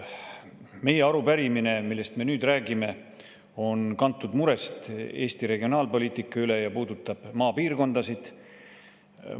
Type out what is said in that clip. Meie arupärimine, millest me nüüd räägime, on kantud murest Eesti regionaalpoliitika üle ja puudutab maapiirkondasid.